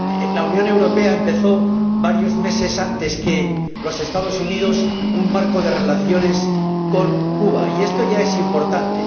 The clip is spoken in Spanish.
La Unión Europea empezó varios meses antes que los Estados Unidos un marco de relaciones con Cuba, y esto ya es importante.